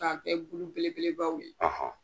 Ka kɛ gulu belebelebaw ye.